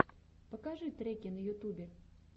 покажи треки на ютубе